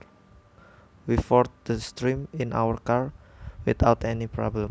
We forded the stream in our car without any problems